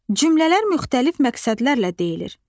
Cümlələr müxtəlif məqsədlərlə deyilir.